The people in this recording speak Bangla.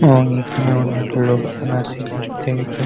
এবং এখানে অনেক লোকজন আছে দেখতেইছো।